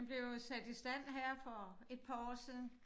Den blev jo sat i stand her for et par år siden